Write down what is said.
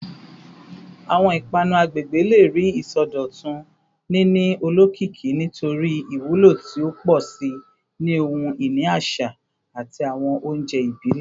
Awọn ipanu agbegbe le rii isọdọtun, nini olokiki nitori iwulo ti o pọ si ni ohun-ini aṣa ati awọn ounjẹ ibile.